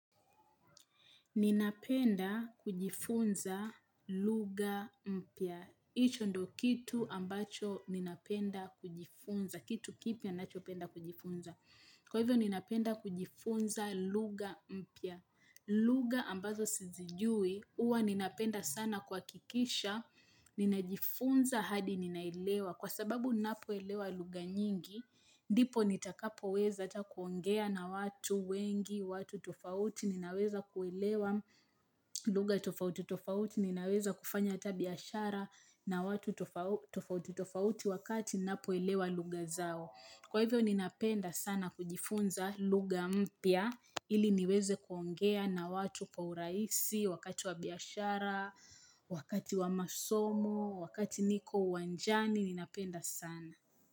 Ninapenda kujifunza luga mpya. Icho ndo kitu ambacho ninapenda kujifunza. Kitu kipya ninachopenda kujifunza. Kwa hivyo ninapenda kujifunza luga mpia. Lugha ambazo sizijui, uwa ninapenda sana kuhakikisha. Ninajifunza hadi ninaelewa. Kwa sababu ninapoelewa lugha nyingi, dipo nitakapoweza ata kuongea na watu wengi, watu tofauti ninaweza kuelewa lugha tofauti tofauti ninaweza kufanya ata biashara na watu tofauti tofauti wakati ninapoelewa lugha zao. Kwa hivyo ninapenda sana kujifunza lugha mpya ili niweze kuongea na watu kwa uraisi wakati wa biashara, wakati wa masomo, wakati niko uwanjani ninapenda sana.